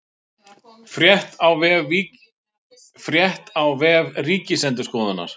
Frétt á vef Ríkisendurskoðunar